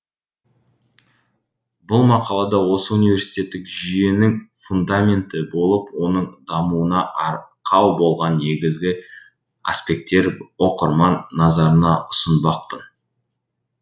бұл мақалада осы университеттік жүйенің фундаменті болып оның дамуына арқау болған негізгі аспекттер оқырман назарына ұсынбақпын